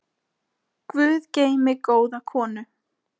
Guð geymi góða konu.